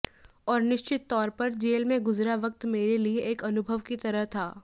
और निश्चित तौर पर जेल में गुजरा वक्त मेरे लिए एक अनुभव की तरह था